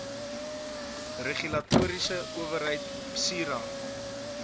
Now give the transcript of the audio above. regulatoriese owerheid psira